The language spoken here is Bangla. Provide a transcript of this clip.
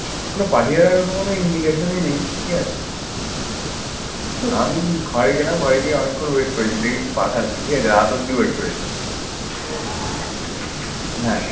পাঠিয়ে কোন indication ই নেই। ঠিক আছ। আমি ঘরে গেলাম, ঘরে গিয়ে অনেকক্ষণ wait করেছি। দেখি তুই পাঠাসনি, ঠিক আছে। রাত অবধি wait করেছি। হ্যাঁ